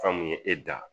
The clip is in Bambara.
An kun ye e da